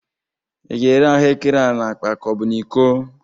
Ị ga-ere ahụrkere a n'akpa ka ọ bụ n'iko?